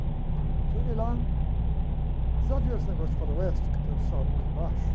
Cheguei lá, já viu esse negócio de faroeste, que tem um saloon embaixo?